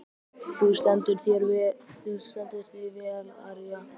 Þú stendur þig vel, Aría!